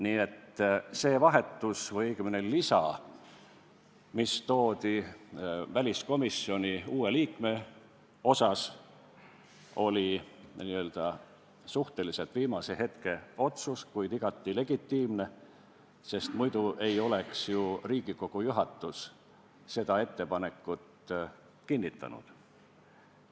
Nii et see vahetus või õigemini lisa, mis toodi uue liikme puhul väliskomisjoni, oli n-ö suhteliselt viimase hetke otsus, kuid igati legitiimne, sest muidu ei oleks ju Riigikogu juhatus seda ettepanekut kinnitanud.